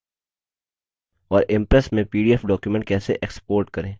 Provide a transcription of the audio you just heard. और impress में pdf document कैसे export करें